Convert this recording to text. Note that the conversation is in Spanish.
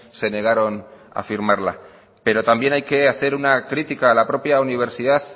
se negaron a firmarla pero también hay que hacer una crítica a la propia universidad